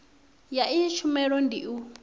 ya iyi tshumelo ndi u